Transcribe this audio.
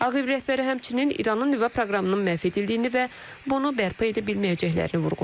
Ağ Ev rəhbəri həmçinin İranın nüvə proqramının məhv edildiyini və bunu bərpa edə bilməyəcəklərini vurğulayıb.